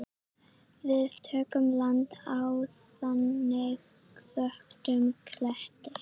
Við tökum land á þangi þöktum kletti.